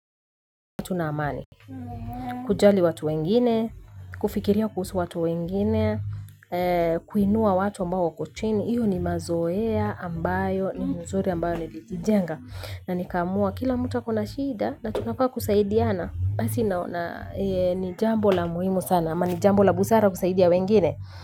Tuna amani. Kujali watu wengine, kufikiria kuhusu watu wengine, kuinua watu ambao wako chini. Iyo ni mazoea ambayo, ni mzuri ambayo nilijijenga. Na nikamua kila mtu ako na shida na tunafaa kusaidiana, basi ni jambo la muhimu sana, ama ni jambo la busara kusaidia wengine.